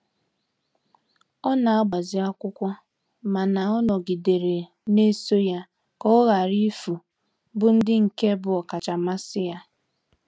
Ọ n'agbazi akwụkwọ mana ọ nọgidere na-eso ya ka ọ ghara ifu bu ndi nke bu okacha mmasi ya.